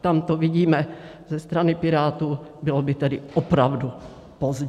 tamto vidíme ze strany Pirátů, bylo by tedy opravdu pozdě.